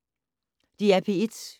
DR P1